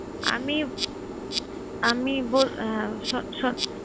আমি আমি বল~ আহ শন শন